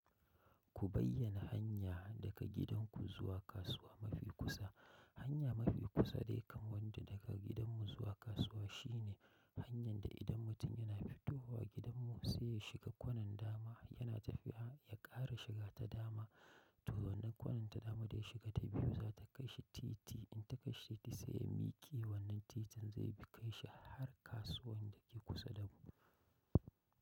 Ku bayyana hanya daga gidanku zuwa kasuwa mafi kusa. Hanya mafi kusa dai kamar da daga gidanmu zuwa kasuwa shine hanyar da idan mutum yana fito wa gidanmu sai ya shiga kwanan dama yana tafiya ya ƙara shiga ta dama to wannan kwanan ta dama da ya shiga ta biyu za ta kai shi titi in ta kai shi titi sai ya miƙe wannan titin zai bi kai shi har kasuwan da ke kusa da mu.